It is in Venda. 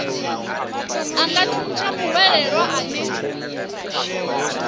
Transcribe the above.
a nga thuntsha muhwelelwa ane